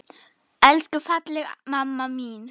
Elsku fallega mamma mín!